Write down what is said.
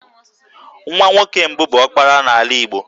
Nwa nwoke mbụ bụ 'ọkpara' n'ala Igbo